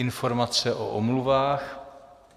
Informace o omluvách.